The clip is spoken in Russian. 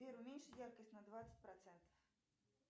сбер уменьши яркость на двадцать процентов